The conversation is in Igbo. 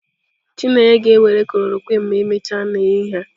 Chineye ga-ewere khlorokwin ma emechaa n'ehihie a.